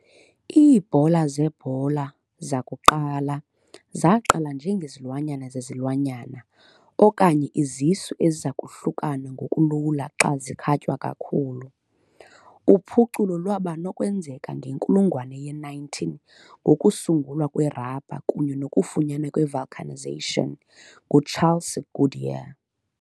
Iibhola zebhola zakuqala zaqala njengezilwanyana zezilwanyana okanye izisu eziza kuhlukana ngokulula xa zikhatywa kakhulu. Uphuculo lwaba nokwenzeka ngenkulungwane ye-19 ngokusungulwa kwerabha kunye nokufunyanwa kwe-vulcanization nguCharles Goodyear .